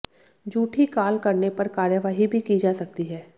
झूठी काल करने पर कार्यवाही भी की जा सकती है